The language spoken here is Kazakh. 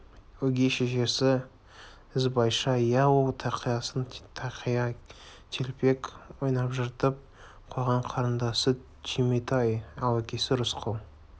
өгей шешесі ізбайша иә ол тақиясын тақия телпек ойнап жыртып қойған қарындасы түйметай ал әкесі рысқұл